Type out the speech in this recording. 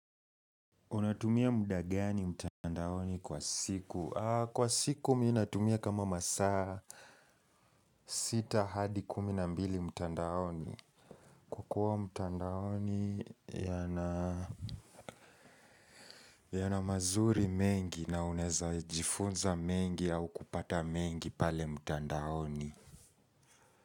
Unatumia muda gani mtandaoni kwa siku? Kwa siku ninatumia kama masaa sita hadi kumi na mbili mtandaoni. Kukua mtandaoni yana mazuri mengi na uneza jifunza mengi au kupata mengi pale mtandaoni.